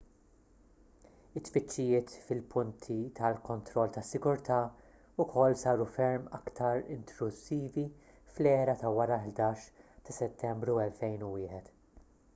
it-tfittxijiet fil-punti ta' kontroll tas-sigurtà wkoll saru ferm aktar intrużivi fl-era ta' wara l-11 ta' settembru 2001